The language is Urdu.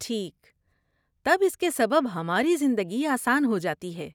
ٹھیک، تب اس کے سبب ہماری زندگی آسان ہو جاتی ہے۔